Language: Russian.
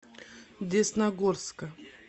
десногорска